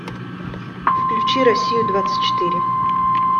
включи россию двадцать четыре